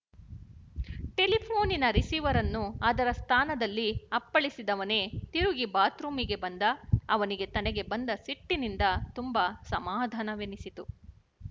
ಟೆಲಿಫೋ ನಿನ ರಿಸೀವರನ್ನು ಅದರ ಸ್ಥಾನದಲ್ಲಿ ಅಪ್ಪಳಿಸಿದವನೇ ತಿರುಗಿ ಬಾತ್‍ರೂಮಿಗೆ ಬಂದ ಅವನಿಗೆ ತನಗೆ ಬಂದ ಸಿಟ್ಟಿನಿಂದ ತುಂಬ ಸಮಾಧಾನವೆನಿಸಿತು